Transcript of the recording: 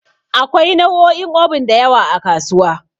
Akwai nau'o'in Obin da yawa a kasuwa.